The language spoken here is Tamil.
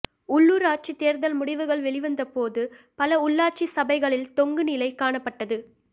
உள்ளூராட்சித் தேர்தல் முடிவுகள் வெளிவந்த போது பல உள்ளாட்சி சபைகளில் தொங்கு நிலை காணப்பட்டது